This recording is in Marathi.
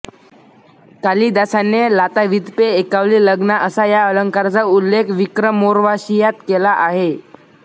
कालिदासाने लातावीत्पे एकावली लग्ना असा या अलंकाराचा उल्लेख विक्रमोर्वाशीयात केला आहे